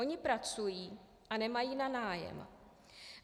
Oni pracují a nemají na nájem.